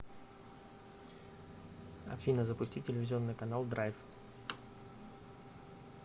афина запусти телевизионный канал драйв